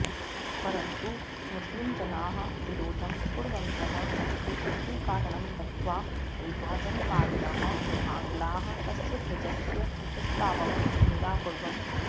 परन्तु मुस्लिमजनाः विरोधं कुर्वन्तः सन्ति इति कारणं दत्त्वा विभाजनकारिणः आङ्ग्लाः तस्य ध्वजस्य प्रस्तावं निराकुर्वन्